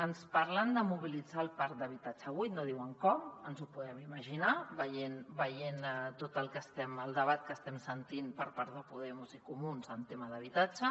ens parlen de mobilitzar el parc d’habitatge buit no diuen com ens ho podem imaginar veient tot el debat que estem sentint per part de podemos i comuns en temes d’habitatge